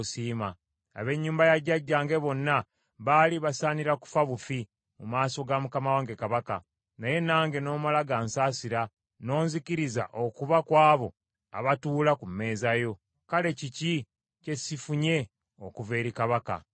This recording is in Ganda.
Ab’ennyumba ya jjajjange bonna baali basaanira kufa bufi mu maaso ga mukama wange kabaka, naye nange n’omala gansaasira n’onzikiriza okuba ku abo abatuula ku mmeeza yo. Kale kiki kye sifunye okuva eri kabaka?”